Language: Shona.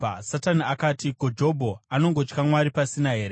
Satani akati, “Ko, Jobho anongotya Mwari pasina here?